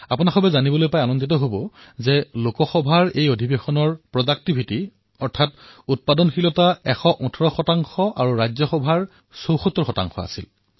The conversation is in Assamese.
আপোনালোকে জানি সুখী হব যে লোকসভাৰ উৎপাদনশীলনা ১১৮ আৰু ৰাজ্যসভাৰ উৎপাদনশীলতা ৭৪ হল